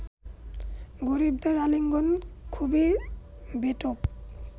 গরিবদের আলিঙ্গন খুবই বেঢপ